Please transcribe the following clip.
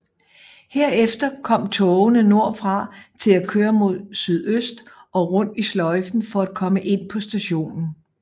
Herefter kom togene nordfra til at køre mod sydøst og rundt i sløjfen for at komme ind på stationen